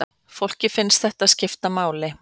Fólki finnst þetta skipta máli